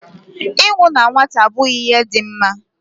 Ịnwụ na nwata abụghị ihe dị mma